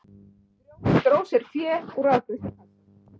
Dró sér fé úr afgreiðslukassa